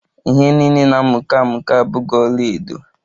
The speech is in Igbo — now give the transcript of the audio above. Ihe niile na-amuke amuke abughi ọlaedo